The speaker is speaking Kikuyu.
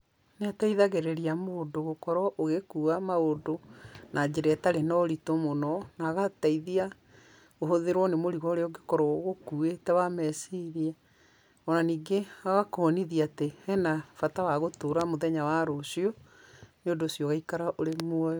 Nĩ ateithagĩrĩria mũndũ gũkorwo ũgĩkuwa maũndũ na njĩra ĩtarĩ na ũritũ mũno, na agateithia kũhũthĩrwo nĩ mũrigo ũrĩa ũngĩkorwo ũkuwĩte wa meciria, onaningĩ agakuonithia atĩ hena bata wa gũtũra mũthenya wa rũcio nĩũndũ ũcio ũgaikara ũrĩ muoyo.